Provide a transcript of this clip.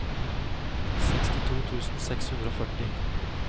sekstito tusen seks hundre og førti